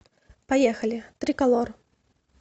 поехали триколор